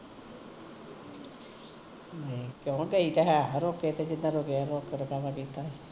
ਕਿਓ ਗਈ ਤੇ ਹੈ ਓਹ ਰੋਕੇ ਤੇ ਜਿਦਣ ਦੇਖ ਦਿਖਾਵਾ ਕੀਤਾ